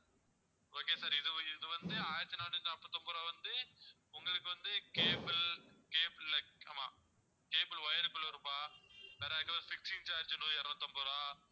okay sir இது இது வந்து ஆயிரத்தி நானூத்தி நாப்பத்தொன்பது ரூபாய் வந்து உங்களுக்கு வந்து cable cable இல்ல ஆமா cable wire குள்ள ரூபாய் வேற fixing charge இருநூத்து ஐம்பது ரூபாய்